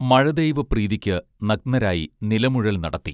മഴദൈവ പ്രീതിക്ക് നഗ്നരായി നിലമുഴൽ നടത്തി